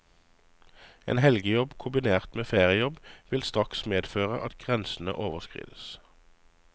En helgejobb kombinert med feriejobb vil straks medføre at grensene overskrides.